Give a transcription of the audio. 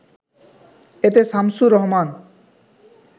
এতে শামছুর রহমান